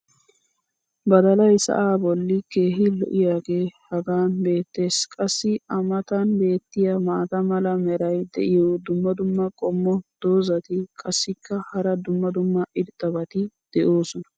Baddalay sa"aa boli keehi lo'iyaagee hagan beetees. qassi a matan beetiya maata mala meray diyo dumma dumma qommo dozzati qassikka hara dumma dumma irxxabati doosona.